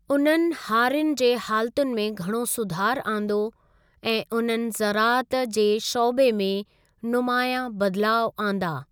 उन्हनि हारियुनि जे हालातुनि में घणो सुधार आंदो ऐं और उन्हनि ज़राअत जे शौबे में नुमायां बदिलाउ आंदा ।